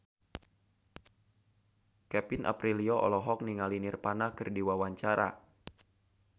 Kevin Aprilio olohok ningali Nirvana keur diwawancara